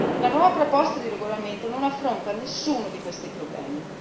La nuova proposta di regolamento non affronta nessuno di questi problemi.